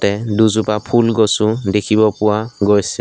তে দুজোপা ফুল গছো দেখিব পোৱা গৈছে।